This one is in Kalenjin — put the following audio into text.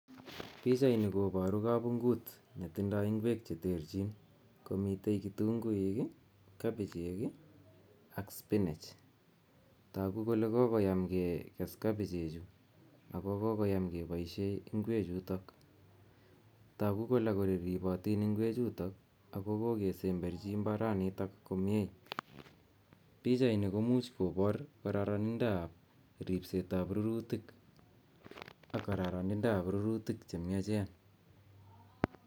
Pichaini koparu kapunguit netindoi ingwek che terchin komitei kitunguik, kabichek ak spinach. Toku kole kokoim ketem kabichechu ak kokoyam kepoishe ingwek chuto. Toku kole ripotin ingwechuto ako kokesemberchi imbaranito komnye. Pichaini komuch kopar kararanindoab ripsetab rurutik ak kararanindoab rurutik che miachen.